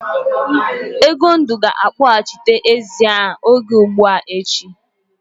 Egondụ ga-akpọghachite ezi a oge ugbua echi.